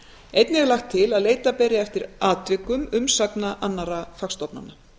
einnig er lagt til að leita beri eftir atvikum umsagna annarra fagstofnana